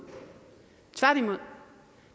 tværtimod